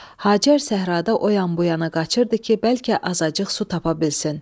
Hacər səhrada o yan-bu yana qaçırdı ki, bəlkə azacıq su tapa bilsin.